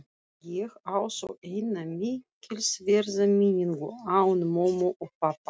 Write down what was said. Ég á þó eina mikilsverða minningu án mömmu og pabba.